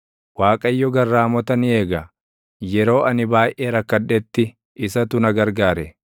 Waaqayyo garraamota ni eega; yeroo ani baayʼee rakkadhetti isatu na gargaare.